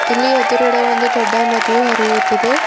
ಇಲ್ಲಿ ಎದುರುಗಡೆ ಒಂದು ದೊಡ್ಡ ನದಿಯು ಹರಿಯುತ್ತಿದೆ.